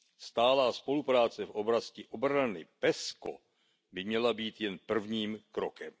Stálá spolupráce v oblasti obrany PESCO by měla být jen prvním krokem.